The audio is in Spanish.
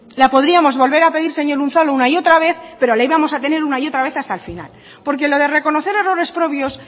la podríamos volver a pedir señor unzalu una y otra vez pero la íbamos a tener una y otra vez hasta el final porque lo de reconocer errores propios